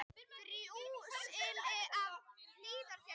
Þrjú slys í Hlíðarfjalli